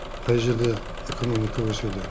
қай жерде экономика өседі